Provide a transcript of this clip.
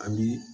A bi